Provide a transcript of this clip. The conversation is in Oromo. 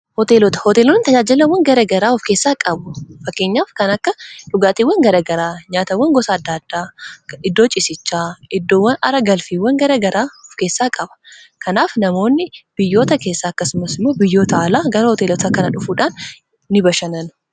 Hooteelota hooteelonni tajaajilawwan garagaraa of keessaa qabu fakkeenyaaf kan akka dhugaatiiwwan garagaraa nyaatawwan gosa adda addaa iddoo cisichaa iddoowwan ara galfiiwwan garagaraa of keessaa qaba kanaaf namoonni biyyoota keessaa akkasumas imoo biyyoota alaa gara hooteelota kana dhufuudhaan ni bashannanu.